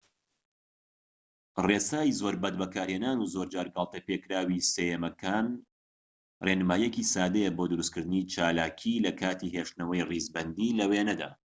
ڕێسای زۆر بەدبەکارهێنان و زۆرجار گاڵتەپێکراوی سێیەمەکان ڕێنماییەکی سادەیە بۆ دروستکردنی چالاکی لەکاتی هێشتنەوەی ڕیزبەندی لە وێنەدا‎